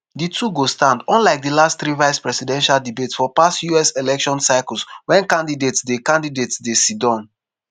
di two go stand unlike di last three vice-presidential debates for past us election cycles wen candidates dey candidates dey siddom.